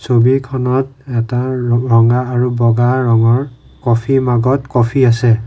ছবিখনত এটা ৰঙা আৰু বগা ৰঙৰ কফি মগত কফি আছে।